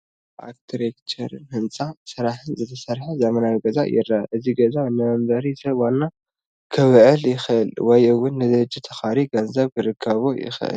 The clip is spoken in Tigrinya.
ብኣርክትቼርን ህንፃ ስራሕን ዝተሰርሐ ዘመናዊ ገዛ ይረአ፡፡ እዚ ገዛ ንመንበሪ ሰብ ዋና ክውዕል ይኽእል ወይ እውን ንድርጅት ተኻርዩ ገንዘብ ክርከቦ ይኽእል፡፡